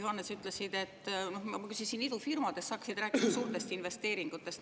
Ma küsisin idufirmade kohta, aga sa, Hendrik Johannes, hakkasid rääkima suurtest investeeringutest.